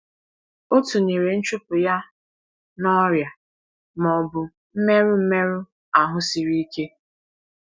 O tụnyere nchụpụ ya na “ọrịa ma ọ bụ mmerụ mmerụ ahụ siri ike.”